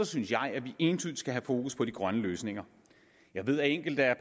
synes jeg at vi entydigt skal have fokus på de grønne løsninger jeg ved at enkelte af